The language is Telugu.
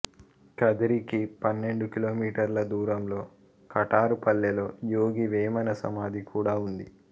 కదిరికి పన్నెండు కిలోమీటర్ల దూరంలో కటారు పల్లెలో యోగి వేమన సమాధి కూడా ఉంది